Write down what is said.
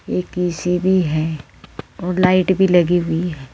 एक ऐ_सी भी है और लाइट भी लगी हुई है।